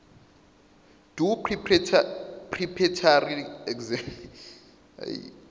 doe preparatory examination